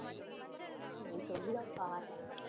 நீ சொல்லிதான் பாரேன்.